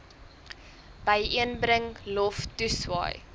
byeenbring lof toeswaai